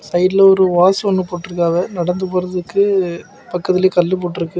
சைடுல ஒரு ஓஸ் ஒன்னு போட்டுருக்காவ நடந்து போறதுக்கு பக்கத்திலேயே கல்லு போட்டு இருக்கு.